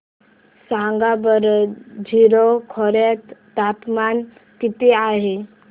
सांगा बरं जीरो खोर्यात तापमान किती आहे